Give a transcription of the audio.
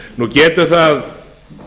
nú getur það